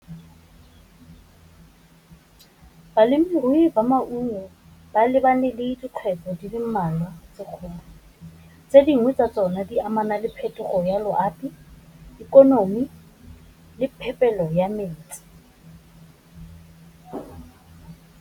Balemirui ba maungo ba lebane le dikgwetlho di le mmalwa tse dingwe tsa tsone di amana le phetogo ya loapi, ikonomi, le phepelo ya metsi.